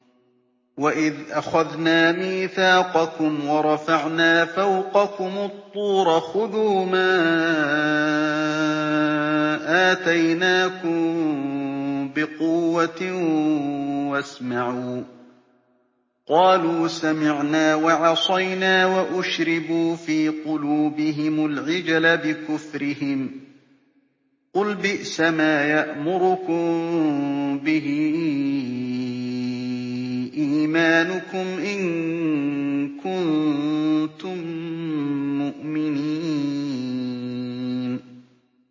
وَإِذْ أَخَذْنَا مِيثَاقَكُمْ وَرَفَعْنَا فَوْقَكُمُ الطُّورَ خُذُوا مَا آتَيْنَاكُم بِقُوَّةٍ وَاسْمَعُوا ۖ قَالُوا سَمِعْنَا وَعَصَيْنَا وَأُشْرِبُوا فِي قُلُوبِهِمُ الْعِجْلَ بِكُفْرِهِمْ ۚ قُلْ بِئْسَمَا يَأْمُرُكُم بِهِ إِيمَانُكُمْ إِن كُنتُم مُّؤْمِنِينَ